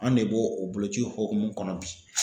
An de b'o o boloci hukumu kɔnɔ bi.